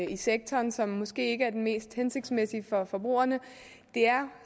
i sektoren som måske ikke er den mest hensigtsmæssige for forbrugerne det er